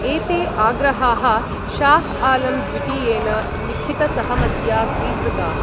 एते आग्रहाः शाह् आलम् द्वितीयेन लिखितसहमत्या स्वीकृताः।